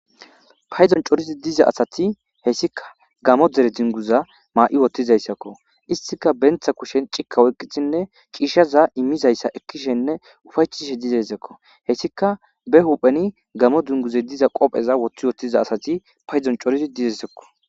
payzon coridi diza asati hessika gamo dere dunguza maa'i wottizayssakko istika bentha kushen cikka oyqqithinne ciishaza immizayssa ekkishenne ufaytishe dizayssakko hessika be hupheni gamo dunguze diza qopheza woththi wottiza asati paydon corizi dizessekko